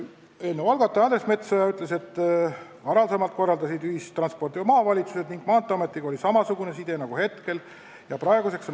Eelnõu algatajate esindaja Andres Metsoja ütles, et varem korraldasid ühistransporti maavalitsused ning Maanteeametiga oli samasugune side nagu praegu.